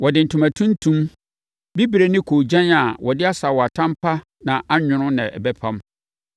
Wɔde ntoma tuntum, bibire ne koogyan a wɔde asaawatam pa na anwono na ɛbɛpam.